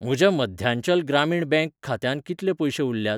म्हज्या मध्यांचल ग्रामीण बँक खात्यांत कितले पयशें उरल्यात?